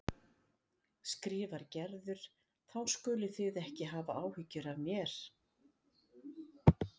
skrifar Gerður, þá skuluð þið ekki hafa áhyggjur af mér.